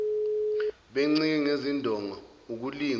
bencike ngezindonga ukulingwa